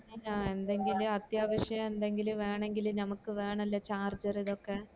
ആഹ് എന്തെങ്കിലും അത്യാവിശം എന്തെങ്കിലും വേണേങ്കില് നമക് വേണല്ലേ charger ഇതൊക്കെ